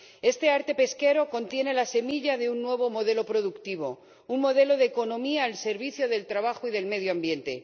Este arte pesquero contiene la semilla de un nuevo modelo productivo, un modelo de economía al servicio del trabajo y del medio ambiente.